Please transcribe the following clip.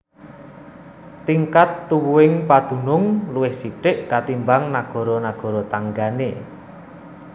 Tingkat tuwuhing padunung luwih sithik katimbang nagara nagara tanggané